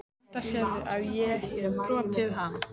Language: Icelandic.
Enda sérðu að ég hefi brotið hana.